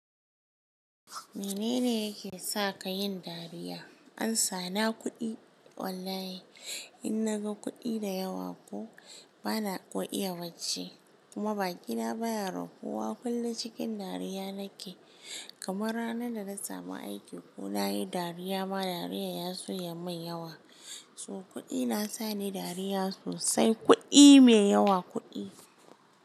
Menene yake sa ka yin dariya? Amsa na kuɗi wallahi in naga kuɗi da yawa ko bana ƙo iya bacci kuma baki na baya rafuwa kullum cikin dariya nake kamar ranar da na samu aiki ko nayi dariya ma dariyar ya soya mai yawa. So kuɗi nasa ni dariya sosai kuɗi me yawa kuɗi.